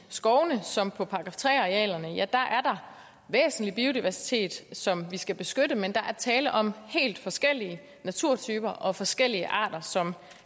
skovene som på § tre arealerne er der væsentlig biodiversitet som vi skal beskytte men der er tale om helt forskellige naturtyper og forskellige arter som